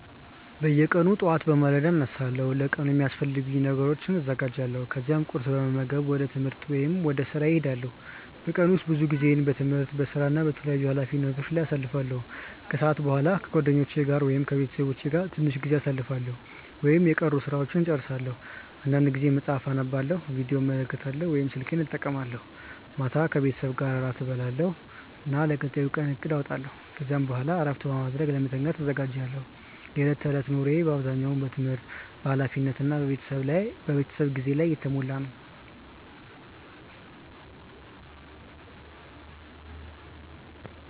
በየቀኑ ጠዋት በማለዳ እነሳለሁ እና ለቀኑ የሚያስፈልጉ ነገሮችን አዘጋጃለሁ። ከዚያ ቁርስ በመመገብ ወደ ትምህርት ወይም ወደ ሥራ እሄዳለሁ። በቀን ውስጥ ብዙ ጊዜዬን በትምህርት፣ በሥራ እና በተለያዩ ኃላፊነቶች ላይ አሳልፋለሁ። ከሰዓት በኋላ ከጓደኞቼ ወይም ከቤተሰቤ ጋር ትንሽ ጊዜ አሳልፋለሁ ወይም የቀሩ ሥራዎችን እጨርሳለሁ። አንዳንድ ጊዜ መጽሐፍ አነባለሁ፣ ቪዲዮ እመለከታለሁ ወይም ስልኬን እጠቀማለሁ። ማታ ከቤተሰቤ ጋር እራት እበላለሁ እና ለቀጣዩ ቀን እቅድ አወጣለሁ። ከዚያ በኋላ እረፍት በማድረግ ለመተኛት እዘጋጃለሁ። የዕለት ተዕለት ኑሮዬ በአብዛኛው በትምህርት፣ በኃላፊነት እና በቤተሰብ ጊዜ የተሞላ ነው።